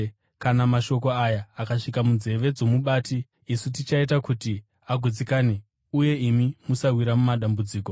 Kana mashoko aya akasvika munzeve dzomubati, isu tichaita kuti agutsikane uye imi musawira mudambudziko.”